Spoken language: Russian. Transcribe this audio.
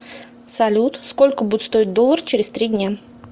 салют сколько будет стоить доллар через три дня